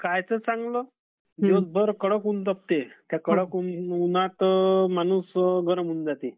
कायचं चांगलं? दिवसभत कडक ऊन राहते त्या उन्हात माणूस गरम होईन जाते.